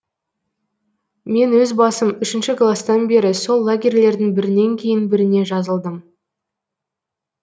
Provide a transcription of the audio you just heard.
мен өз басым үшінші класстан бері сол лагерьлердің бірінен кейін біріне жазылдым